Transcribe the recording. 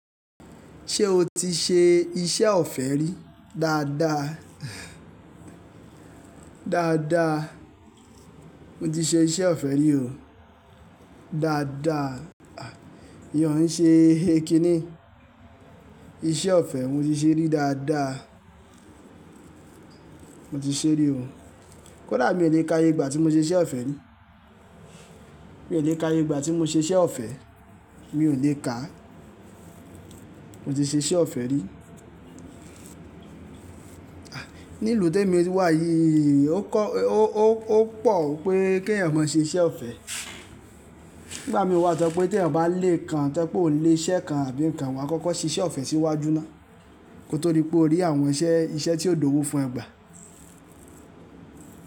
Ṣé o ti ṣe iṣẹ́ ọ̀fẹ́ rí dáadáa? Dáadáa, mo ti ṣe iṣẹ́ ọ̀fẹ́ rí o dáadáa. Iyen o ń ṣe kí ní? Iṣẹ́ ọ̀fẹ́ mo ti ṣe rí dáadáa. Mo ti ṣe rí o. Kódà mi ò le kà ye ìgbà tí mo ṣe iṣẹ́ ọ̀fẹ́ rí. Mi ò le kà ye ìgbà tí mo ṣe iṣẹ́ ọ̀fẹ́. Mi ò le kà. Mo ti ṣe iṣẹ́ ọ̀fẹ́ rí. Ní ìlú té mi wà yí, ó kọ́, ó, ó, ó pọ̀ wipé kí ẹ̀yàn má ṣe iṣẹ́ ọ̀fẹ́. Nígbà mí wà tọ pé tí ẹ̀yàn bá le kan, tẹ́ pé ò lè iṣẹ́ kan àbí nǹkan, wà á kọ́kọ́ ṣe iṣẹ́ ọ̀fẹ́ síwájú ná. Ko tó rí pé o rí àwọn iṣẹ́, iṣẹ́ tí ó di owo fún ẹ gbà.